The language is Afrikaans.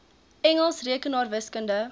engels rekenaars wiskunde